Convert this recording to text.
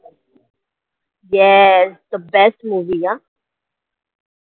yeah the best movie ना